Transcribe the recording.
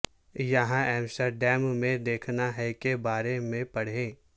یہاں ایمسٹرڈیم میں دیکھنا ہے کے بارے میں پڑھیں